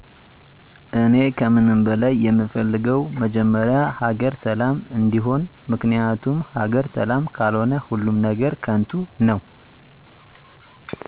እኔ ከምንም በላይ የምፈልገው መጀመሪያ ሀገር ሰላም እንዲሆን ምክንያቱም ሀገር ሰላም ካልሆነ ሁሉም ነገር ከንቱ ነው